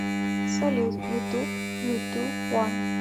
салют ютуб юту уан